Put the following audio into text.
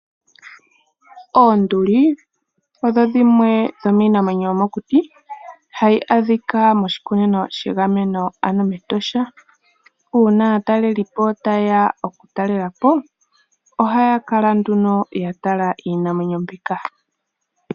Oonduli odho dhimwe dhomiinamwenyo yomokuti hayi adhikwa moshikunino shegameno ano mEtosha. Uuna aataleli po tayeya okutalelapo ohaya kala nduno yatala iinamwenyo mbika.